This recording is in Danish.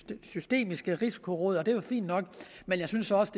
det systemiske risikoråd og det er jo fint nok men jeg synes også